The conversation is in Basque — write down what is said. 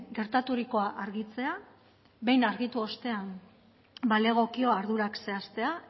gertaturikoa argitzea behin argitu ostean balegokio ardurak zehaztea